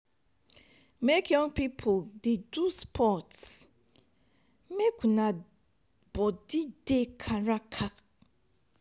make you young pipu dey do sports make una body dey kakaraka.